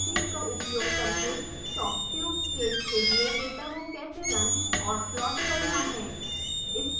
pyfoam utilities का उपयोग करके shocktube केस के लिए डेटा को कैसे रन और प्लोट करना है